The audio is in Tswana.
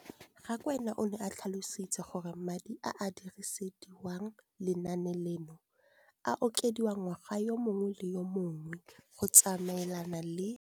Rakwena o tlhalositse gore madi a a dirisediwang lenaane leno a okediwa ngwaga yo mongwe le yo mongwe go tsamaelana le